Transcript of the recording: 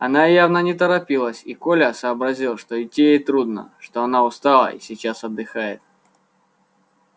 она явно не торопилась и коля сообразил что идти ей трудно что она устала и сейчас отдыхает